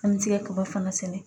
An bɛ se ka kaba fana sɛnɛ